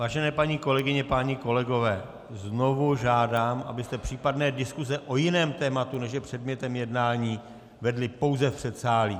Vážené paní kolegyně, páni kolegové, znovu žádám, abyste případné diskuse o jiném tématu, než je předmětem jednání, vedli pouze v předsálí.